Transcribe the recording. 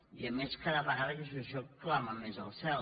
i a més cada vegada aquesta situació clama més al cel